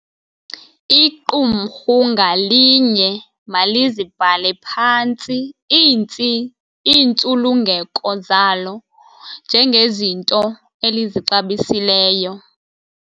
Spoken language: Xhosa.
Iqumrhu ngalinye malizibhale phantsi iintsulungeko zalo njengezinto elizixabisileyo.